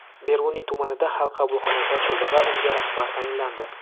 Beruniy tumanida Xalq qabulxonasi ochildi va unga rahbar tayinlandi.